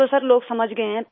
अब तो लोग समझ गए हैं